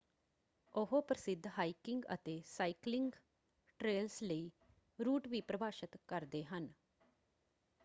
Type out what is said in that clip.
ਉਹ ਪ੍ਰਸਿੱਧ ਹਾਈਕਿੰਗ ਅਤੇ ਸਾਈਕਲਿੰਗ ਟ੍ਰੇਲਸ ਲਈ ਰੂਟ ਵੀ ਪਰਿਭਾਸ਼ਤ ਕਰਦੇ ਹਨ।